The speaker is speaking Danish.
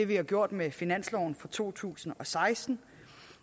vi gjort med finansloven for to tusind og seksten